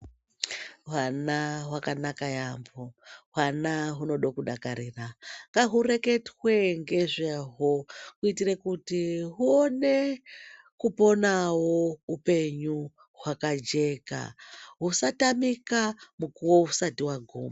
Vana vakanaka yaemho, uvana unode kudakarira, ngaureketwe ngezvawo kuitire kuti uone kuponawo upenyu wakajeka usatamika mukuwo usati waguma.